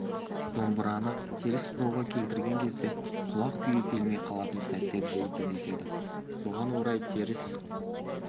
домбыраны теріс бұрауға келтірген кезде құлақ күйі келмей қалатын сәттер жиі кездеседі соған орай теріс